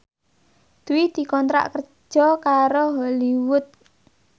Dwi dikontrak kerja karo Hollywood